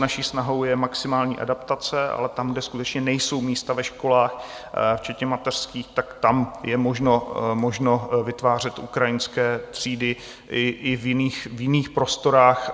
Naší snahou je maximální adaptace, ale tam, kde skutečně nejsou místa ve školách včetně mateřských, tak tam je možno vytvářet ukrajinské třídy i v jiných prostorách.